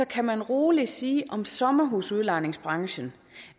kan man roligt sige om sommerhusudlejningsbranchen